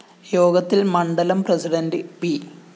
യോഗത്തില്‍ മണ്ഡലം president P